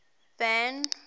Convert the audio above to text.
van